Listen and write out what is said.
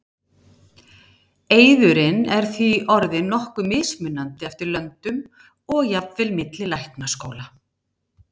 eiðurinn er því orðinn nokkuð mismunandi eftir löndum og jafnvel milli læknaskóla